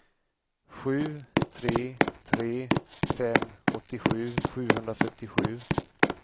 sju tre tre fem åttiosju sjuhundrafyrtiosju